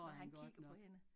Når han kigger på hende